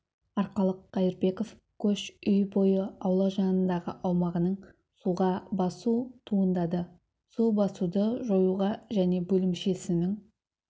арқалық қаирбеков көш үй бойы аула жанындағы аумағының суға басу туындады су басуды жоюға және бөлімшесінің